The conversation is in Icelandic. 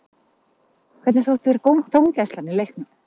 Hvernig þótti þér dómgæslan í leiknum?